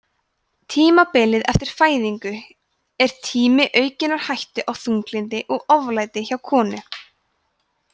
tímabilið eftir fæðingu er tími aukinnar hættu á þunglyndi og oflæti hjá konum